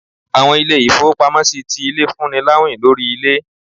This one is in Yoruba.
Àwọn ilé-ifowópámọsí tí ilé, fún ní láwín lorí ilé.